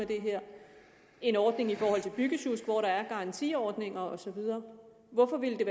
det her en ordning i forhold til byggesjusk hvor der er garantiordninger og så videre hvorfor ville